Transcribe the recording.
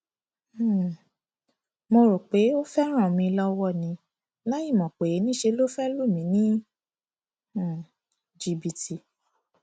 um mo rò pé ó fẹẹ ràn mí lọwọ ni láìmọ pé níṣẹ ló fẹẹ lù mí ní um jìbìtì